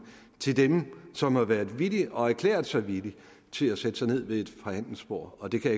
til dem som har været villige og har erklæret sig villige til at sætte sig ned ved et forhandlingsbord og det kan